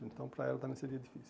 Então, para ela também seria difícil.